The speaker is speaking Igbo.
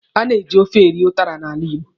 A na-eji ofe eri ụtara n'ala Igbo.